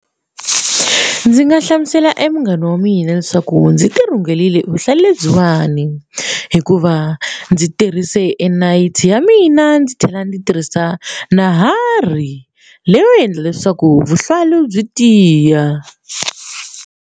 Ndzi nga hlamusela e munghana wa mina leswaku ndzi ti rhungelile vuhlayi lebyiwani hikuva ndzi tirhise nayiti ya mina ndzi tlhela ndzi tirhisa nuhwari leyo endla leswaku vuhlalu byi tiya.